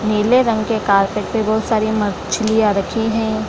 नीले रंग के कार्पेट पे बहुत सारी मछलियाँ रखी हैं।